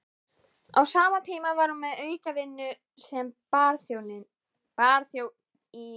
Á sama tíma var hún með aukavinnu sem barþjónn í